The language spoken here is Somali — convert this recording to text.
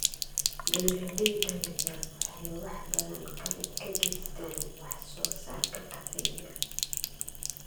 Beeralayda yaryar waxay wax badan ka geystaan ??wax soo saarka kafeega.